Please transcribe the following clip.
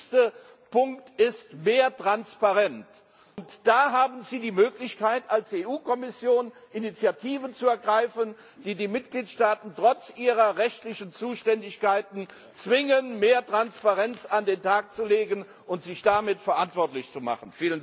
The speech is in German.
Der wichtigste Punkt ist mehr Transparenz, und da haben Sie die Möglichkeit, als EU Kommission Initiativen zu ergreifen, die die Mitgliedstaaten trotz ihrer rechtlichen Zuständigkeiten zwingen, mehr Transparenz an den Tag zu legen und sich damit verantwortlich zu machen.